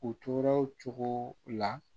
U tora o cogo la